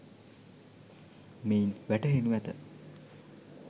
මෙයින් වැටහෙනු ඇත